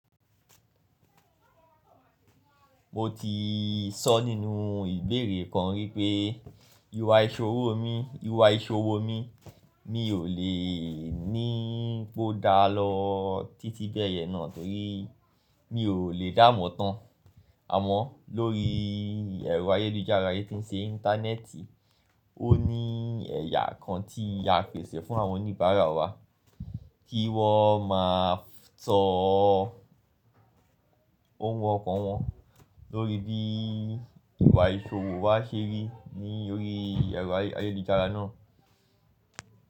Mo ti sọ nínú ìbéèrè kan wípé ìwà ìsòwò mi, ìwà ìsòwò mi mi ò lè ní pó dá lọ títí bẹ́ẹ̀yẹn náà torí mi ò lè dáàmo tán. Àmọ́ lórí ẹ̀rọ ayélujára yẹn tí ń ṣe Íńtánẹ́ẹ̀tì, ó ní ẹ̀yà kan tí a fèsì fún àwọn oníbàárà wa kí wọ́n má a só ohun ọkan wọn lórí bí ìwà ìsòwò wa ṣe rí lórí ẹ̀rọ ayélujára náà.